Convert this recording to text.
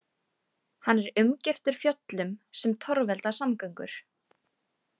Hann er umgirtur fjöllum, sem torvelda samgöngur.